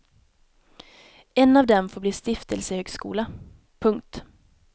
En av dem får bli stiftelsehögskola. punkt